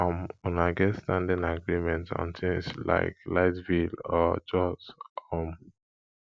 um make una get standing agreement on things like light bill or chores um